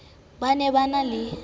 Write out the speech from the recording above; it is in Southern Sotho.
ba ne ba na le